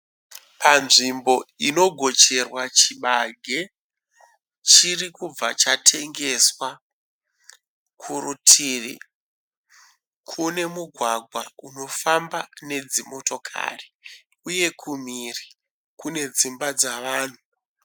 Panzvimbo inogocherwa chibage. Chirikubva chatengeswa. Kurutivi kune mugwagwa unofamba nedzimotokari uye kumhiri kune dzimba dzavanhu.